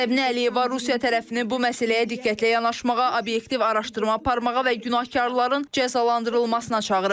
Səbinə Əliyeva Rusiya tərəfini bu məsələyə diqqətlə yanaşmağa, obyektiv araşdırma aparmağa və günahkarların cəzalandırılmasına çağırıb.